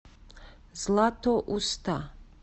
златоуста